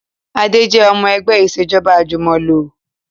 Adé jẹ́ ọmọ ẹgbẹ́ Ìṣèjọ́ba àjùmọ̀lò